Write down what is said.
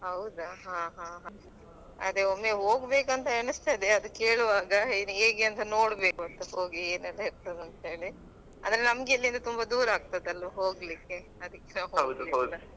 ಹೌದಾ ಹಾ ಹಾ ಹ ಅದೇ ಒಮ್ಮೆ ಹೋಗ್ಬೇಕಂತ ಎನಿಸ್ತದೆ ಅದ್ ಕೇಳುವಾಗ ಹೇಗೆ ಅಂತ ನೋಡ್ಬೇಕು ಅಂತ ಹೋಗಿ ಏನೆಲ್ಲ ಇರ್ತದೆ ಅಂಥೇಳಿ ಅಂದ್ರೆ ನಮ್ಗಿಲ್ಲಿಂದ ತುಂಬಾ ದೂರ ಆಗ್ತದೆ ಅಲ್ಲ ಹೋಗ್ಲಿಕ್ಕೆ ಅದಕ್ಕೆ .